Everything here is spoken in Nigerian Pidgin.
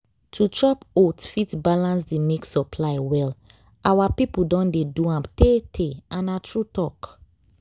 to chop oats fit balance the milk supply well. our people don dey do am tey-tey and na true talk.